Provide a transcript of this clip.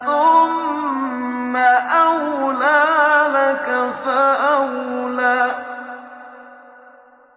ثُمَّ أَوْلَىٰ لَكَ فَأَوْلَىٰ